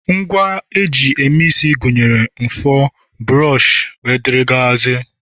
Ngwa eji eme isi gụnyere mfor, buroshi, wdg